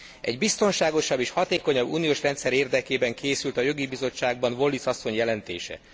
Egy biztonságosabb és hatékonyabb uniós rendszer érdekében készült a Jogi Bizottságban Wallis asszony jelentése.